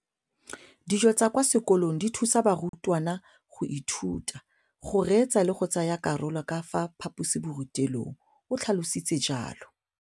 Dijo tsa kwa sekolong dithusa barutwana go ithuta, go reetsa le go tsaya karolo ka fa phaposiborutelong, o tlhalositse jalo.